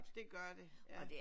Det gør det ja